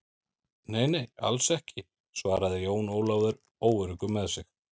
Nei, nei, alls ekki, svaraði Jón Ólafur óöruggur með sig.